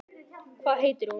Hvað heitir hún?